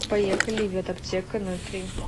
поехали ветаптеканольтри